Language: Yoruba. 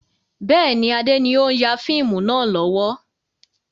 Bẹ́ẹ̀ni, Adé ni o n ya fíìmù náà lọ́wọ́.